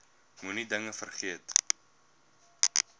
moenie dinge vergeet